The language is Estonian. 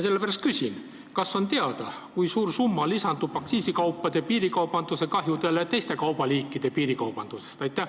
Sellepärast küsin, kas on teada, kui suur summa lisandub aktsiisikaupade piirikaubandusest tulenevatele kahjudele teiste kaubaliikide piirikaubanduse tõttu.